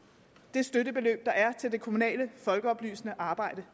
er støttebeløbet til det kommunale folkeoplysende arbejde